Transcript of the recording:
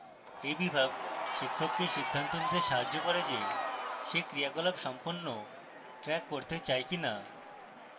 এই বিভাগ শিক্ষককে সিদ্ধান্ত নিতে সাহায্য করে যে she ক্রিয়াকলাপ সম্পন্ন track করতে চায় কিনা